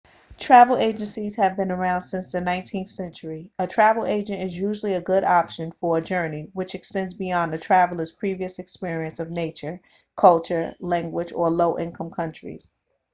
travel agencies have been around since the 19th century a travel agent is usually a good option for a journey which extends beyond a traveller's previous experience of nature culture language or low-income countries